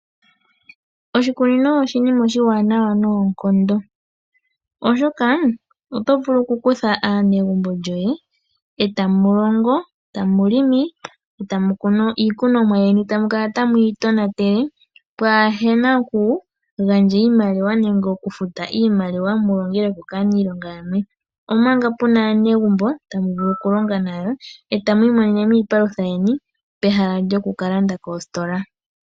Oshikunino osho oshinima oshiwanawa noonkondo oshoka oto vulu okukutha aanegumbo lyoye etamu longo etamu kunu iikunomwa yeni etamu kala tamuyi tonatele kaapuna okugandja iimaliwa nenge okufuta iimaliwa mulongelweko kaaniilonga yamwe omanga puna aanegumbo tamu vulu okulonga nayo etamu imonene mo iipalutha yeni pehala lyokukalanda koositola.